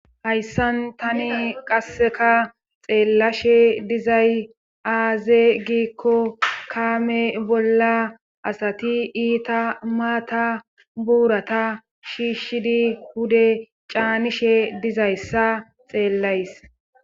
hayssan tani qasseka xeellashe dizay aaze giikko kaame bolla asati iita maata buurata shiishshidi hude caanishe dizayssa xeellays